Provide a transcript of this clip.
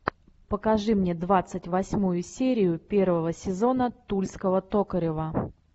покажи мне двадцать восьмую серию первого сезона тульского токарева